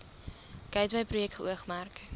gateway projek geoormerk